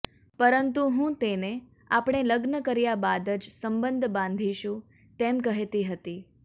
પરંતુ હું તેને આપણે લગ્ન કર્યા બાદ જ સબંધ બાંધીશું તેમ કહેતી હતી